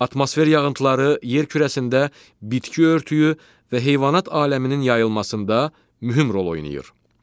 Atmosfer yağıntıları yer kürəsində bitki örtüyü və heyvanat aləminin yayılmasında mühüm rol oynayır.